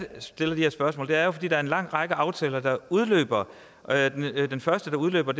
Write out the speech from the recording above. stiller de her spørgsmål er at der er en lang række aftaler der udløber den første der udløber